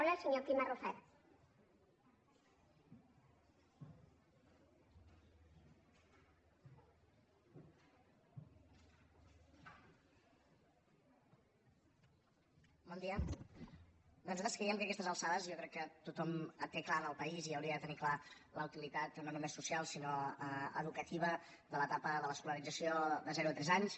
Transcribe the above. bé nosaltres creiem que a aquestes alçades jo crec que tothom té clar al país i hauria de tenir clar la utilitat no només social sinó educativa de l’etapa de l’escolarització de zero a tres anys